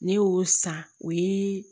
Ne y'o san o ye